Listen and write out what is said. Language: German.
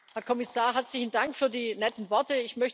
Herr Kommissar, herzlichen Dank für die netten Worte.